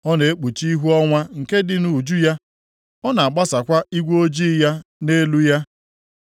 Ọ na-ekpuchi ihu ọnwa nke dị nʼuju ya, + 26:9 Ọ na-ekpuchi ihu ocheeze nke ọnwa na-agbasakwa igwe ojii ya nʼelu ya,